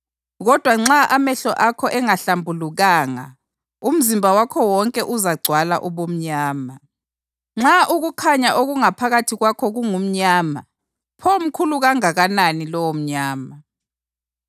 Kodwa nxa amehlo akho engahlambulukanga umzimba wakho wonke uzagcwala ubumnyama. Nxa ukukhanya okungaphakathi kwakho kungumnyama, pho mkhulu kanganani lowomnyama!